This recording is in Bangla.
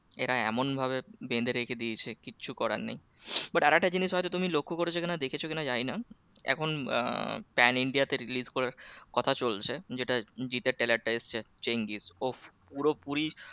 এরা এমন ভাবে বেঁধে রেখে দিয়েছে কিচ্ছু করার নেই but আর একটা জিনিস হয়তো তুমি লক্ষ্য কি না দেখেছো কি না জানি না এখন আহ pan india তে release করার কথা চলছে যেটা জিৎ দার trailer টা এসেছে চেঙ্গিজ উফফ পুরোপুরি